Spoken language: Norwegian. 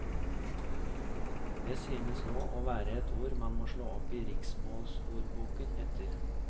Det synes nå å være et ord man må slå opp i riksmålsordboken etter.